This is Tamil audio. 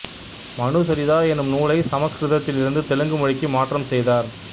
மனுசரிதா எனும் நூலை சமசுகிருதத்தில் இருந்து தெலுங்கு மொழிக்கு மாற்றம் செய்தார்